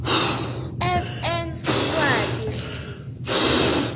fn siswati hl